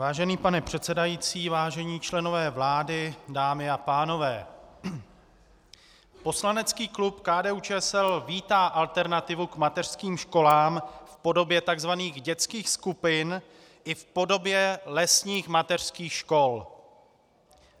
Vážený pane předsedající, vážení členové vlády, dámy a pánové, poslanecký klub KDU-ČSL vítá alternativu k mateřským školám v podobě tzv. dětských skupin i v podobě lesních mateřských škol.